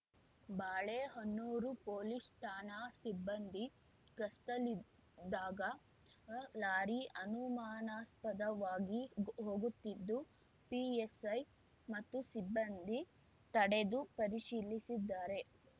Balehonnur police ಠಾಣಾ ಸಿಬ್ಬಂದಿ ಗಸ್ತಲ್ಲಿದ್ದಾಗ ಲಾರಿ ಅನುಮಾನಾಸ್ಪದವಾಗಿ ಹೋಗುತ್ತಿದ್ದು ಪಿಎಸೈ ಮತ್ತು ಸಿಬ್ಬಂದಿ ತಡೆದು ಪರಿಶೀಲಿಸಿದ್ದಾರೆ